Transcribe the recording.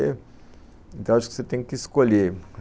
Então, acho que você tem que escolher.